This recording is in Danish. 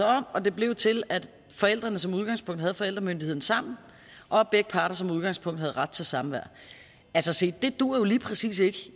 om og det blev til at forældrene som udgangspunkt havde forældremyndigheden sammen og at begge parter som udgangspunkt havde ret til samvær se det duer jo lige præcis ikke